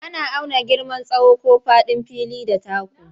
Ana auna girman tsawo ko faɗin fili da taku.